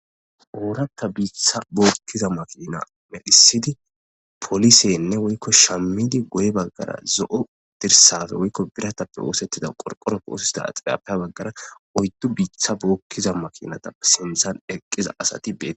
Ooratta biitha bookkiza makina medisidi polisenne woykko shammidi guyye baggara zo'o dirsape woykko biratappe oosettida qorqoroppe oosetida axilriyappe guyye baggara oyddu biitha bookkiza makinatappe sinthan eqqiza asati beetees.